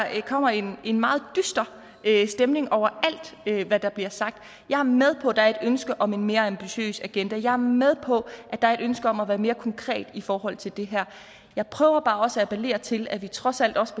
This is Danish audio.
kommer en meget dyster stemning over alt hvad der bliver sagt jeg er med på at der er et ønske om et mere ambitiøs agenda og jeg er med på at der er et ønske om at være mere konkret i forhold til det her jeg prøver bare også at appellere til at vi trods alt også